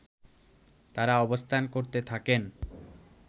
তারা অবস্থান করতে থাকেন